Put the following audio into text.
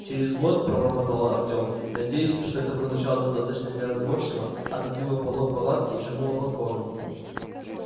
через год пробормотал артём надеясь что это прозвучало достаточно неразборчиво отодвинул полог палатки и шагнул на платформу